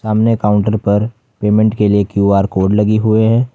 सामने काउंटर पर पेमेंट के लिए क्यू_आर कोड लगे हुए हैं।